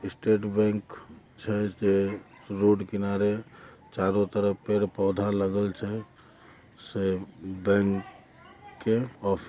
state bank शहर के road किनारे चारो तरफ पेड़ पौधा लगल छे से बैंक के ऑफिस --